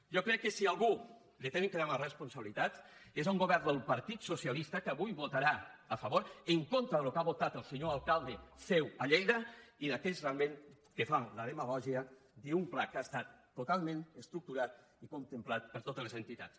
jo crec que si a algú han de demanar responsabilitats és a un govern del partit socialista que avui votarà a favor en contra del que ha votat el senyor alcalde seu a lleida i a aquells realment que fan demagògia d’un pla que ha estat totalment estructurat i contemplat per totes les entitats